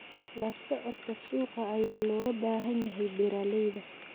La socodka suuqa ayaa looga baahan yahay beeralayda.